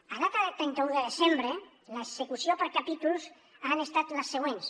a data de trenta un de desembre les execucions per capítols han estat les següents